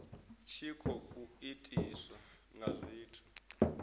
tshi khou itiswa nga zwithu